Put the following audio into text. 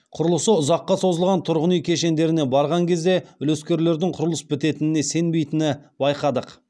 құрылысы ұзаққа созылған тұрғын үи кешендеріне барған кезде үлескерлердің құрылыс бітетініне сенбеи тіні баи қадық